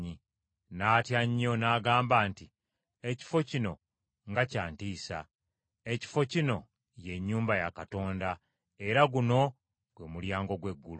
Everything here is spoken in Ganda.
N’atya nnyo, n’agamba nti, “Ekifo kino nga kyantiisa! Ekifo kino ye nnyumba ya Katonda, era guno gwe mulyango gw’eggulu.”